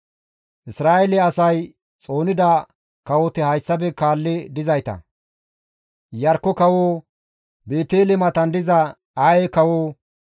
Isra7eele asay xoonida kawoti hayssafe kaalli dizayta; Iyarkko kawo, Beetele matan diza Aye kawo,